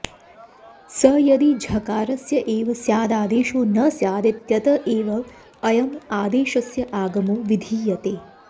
स यदि झकारस्य एव स्याददादेशो न स्यादित्यत एव अयम् आदेशस्य आगमो विधीयते